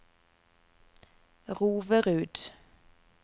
Roverud